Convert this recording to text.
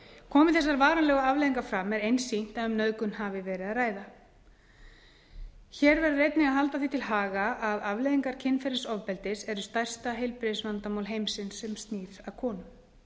komi þessar varanlegu afleiðingar fram er einsýnt að um nauðgun hafi verið að ræða hér verður einnig að halda því til haga að afleiðingar kynferðisofbeldis eru stærsta heilbrigðisvandamál heimsins sem snýr að konum